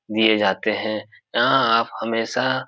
दिए जाते हैं यहाँ आप हमेशा --